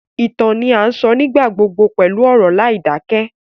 Ìtàn ni a sọ nígbà gbogbo pẹlu ọ̀rọ̀ láìdakẹ